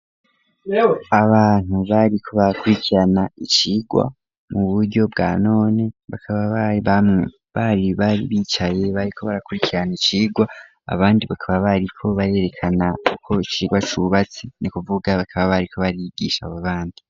Abantu bariko bakurikirana icigwa mu buryo bwa none bakaba bari bamwe bari bari bicaye bariko barakurikirana icigwa abandi bakaba bariko barerekana ukuntu icigwa cubatse ni kuvuga bakaba bariko barigisha abo bandi.